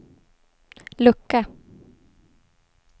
lucka